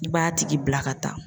I b'a tigi bila ka taa.